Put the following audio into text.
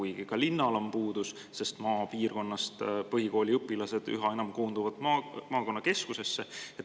Aga ka linnal on puudus, sest maapiirkonnast koonduvad põhikooliõpilased üha enam maakonnakeskusesse.